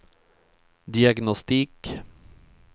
diagnostik